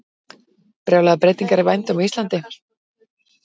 Brjálaðar breytingar í vændum á Íslandi